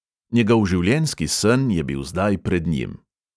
Njegov življenjski sen je bil zdaj pred njim.